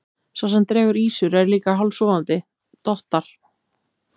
Sá sem dregur ýsur er líka hálfsofandi, dottar.